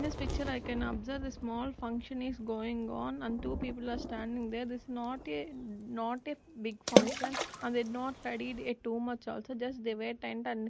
in this picture i can observe the small function is going on and two people are standing there is not a not a big function and did not a too much also just they --